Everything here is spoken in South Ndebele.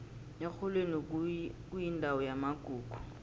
erholweni kuyindawo yamagugu